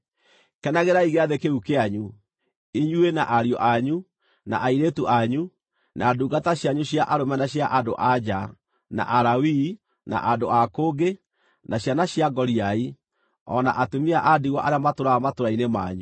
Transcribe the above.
Kenagĩrai Gĩathĩ kĩu kĩanyu, inyuĩ, na ariũ anyu, na airĩtu anyu, na ndungata cianyu cia arũme na cia andũ-a-nja, na Alawii, na andũ a kũngĩ, na ciana cia ngoriai, o na atumia a ndigwa arĩa matũũraga matũũra-inĩ manyu.